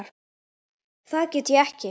Það get ég ekki